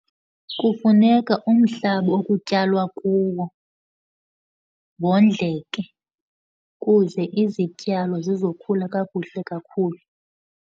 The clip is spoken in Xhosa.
Kufuneka umhlaba okutyalwa kuwo wondleke kuze izityalo zizokhula kakuhle kakhulu.